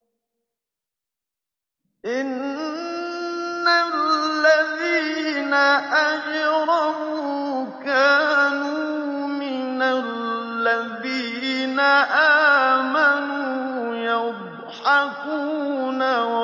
إِنَّ الَّذِينَ أَجْرَمُوا كَانُوا مِنَ الَّذِينَ آمَنُوا يَضْحَكُونَ